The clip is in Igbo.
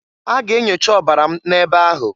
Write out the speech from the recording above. A ga enyocha ọbara m n'ebe ahụ.